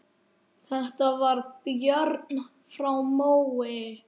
Þetta var Björn frá Mói.